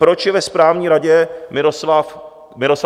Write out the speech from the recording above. Proč je ve správní radě Miroslav Kalousek?